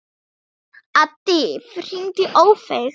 Addý, hringdu í Ófeig.